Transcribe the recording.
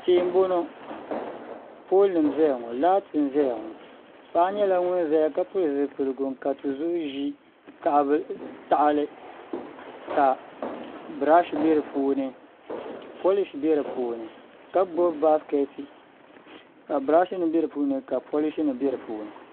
Tihi n boŋo pool nim n ʒɛya ŋo laati n ʒɛya ŋo paɣa nyɛla ŋun ƶɛya ka pili zipiligu n ka tizuɣu ʒi tahali ka birash bɛ di puuni polish bɛ di puuni ka gbubi baskɛti ka birash nim bɛ di puuni ka polish nim bɛ di puuni